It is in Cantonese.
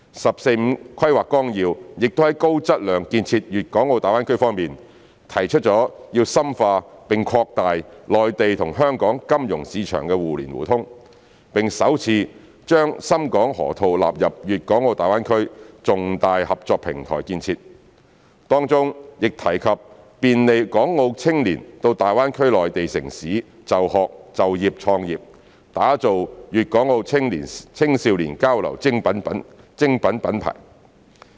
《十四五規劃綱要》亦在高質量建設大灣區方面，提出要深化並擴大內地與香港金融市場互聯互通，並首次把深港河套納入大灣區重大合作平台建設，當中亦提及便利港澳青年到大灣區內地城市就學、就業和創業，打造粤港澳青少年交流精品品牌。